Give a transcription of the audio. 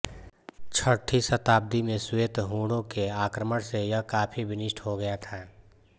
छठी शताब्दी में श्वेत हूणों के आक्रमण से यह काफी विनिष्ट हो गया था